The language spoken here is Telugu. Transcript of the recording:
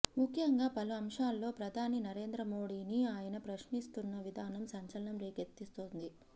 ముఖ్యంగా పలు అంశాల్లో ప్రధాని నరేంద్ర మోడీని ఆయన ప్రశ్నిస్తున్న విధానం సంచలనం రేకెత్తిస్తోంది